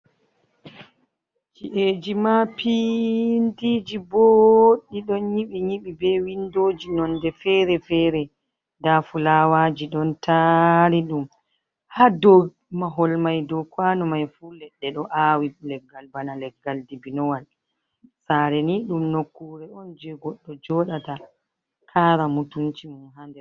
Ci’eji mapindiji boɗɗi, ɗon nyiɓi nyiɓi be windoji nonde fere-fere, nda fulawaji don taari ɗum, ha dou mahol mai dou kwanu mai fu leɗɗe ɗo aawi, leggal bana leggal dibinowal, saare ni ɗum nokkure on jei goɗɗo jooɗata kara mutunci mum.